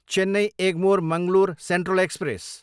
Chennai, Egmore Mangalore central express